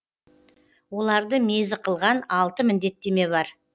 оларды мезі қылған алты міндеттеме бар